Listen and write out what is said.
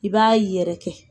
I b'a yɛrɛkɛ